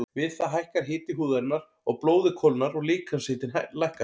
Við það hækkar hiti húðarinnar og blóðið kólnar og líkamshitinn lækkar.